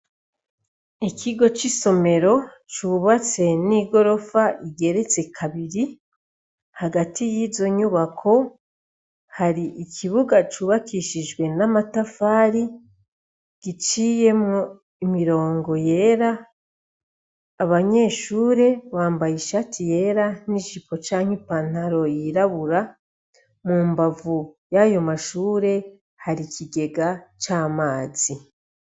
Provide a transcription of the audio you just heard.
Ikigo c' isomero cubatse n' igorof' igeretse kabiri, hagati yizo nyubako har' ikibuga cubakishijwe n' amatafari giciyemw' imirongo yera, abanyeshure bambay' ishati yera n' ijipo cank' ipantaro yirabura, mu mbavu yayo mashure har' ikigega c' amazi.